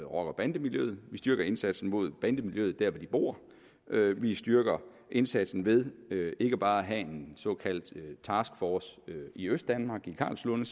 og bandemiljøet vi styrker indsatsen mod bandemiljøet der hvor de bor vi styrker indsatsen ved ikke bare at have en såkaldt taskforce i østdanmark i karlslunde